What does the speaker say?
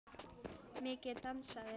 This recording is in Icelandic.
Mikið dansað.